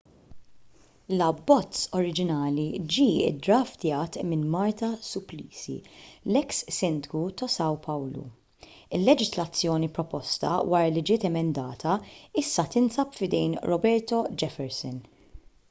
l-abbozz oriġinali ġie ddraftjat minn marta suplicy l-eks sindku ta' são paulo. il-leġiżlazzjoni proposta wara li ġiet emendata issa tinsab f'idejn roberto jefferson